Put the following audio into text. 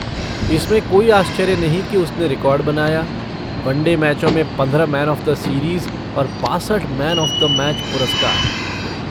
इसमें कोई आश्चर्य नहीं कि उसने रिकॉर्ड बनाया, वनडे मैचों में पंद्रह मैन ऑफ़ द सीरीज़ और बासठ मैन ऑफ़ द मैच पुरस्कार।